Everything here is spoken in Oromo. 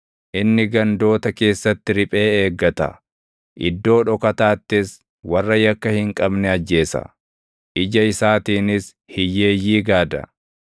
Inni gandoota keessatti riphee eeggata; iddoo dhokataattis warra yakka hin qabne ajjeesa. Ija isaatiinis hiyyeeyyii gaada.